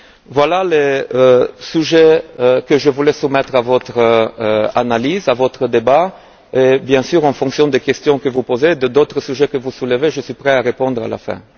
Voilà les sujets que je voulais soumettre à votre analyse, à votre débat et bien sûr en fonction des questions que vous poserez et d'autres sujets que vous soulèverez, je serai prêt à répondre à la fin.